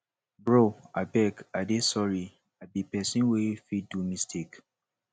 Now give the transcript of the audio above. bro abeg i dey sorry i be person wey fit do mistake